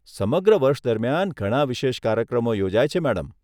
સમગ્ર વર્ષ દરમિયાન ઘણા વિશેષ કાર્યક્રમો યોજાય છે, મેડમ.